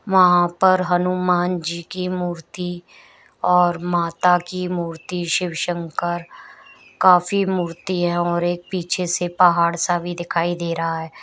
वहां पर हनुमान जी की मूर्ति और माता की मूर्ति शिव शंकर का भी मूर्ति है और एक पीछे से पहाड़ सा भी दिखाई दे रहा है।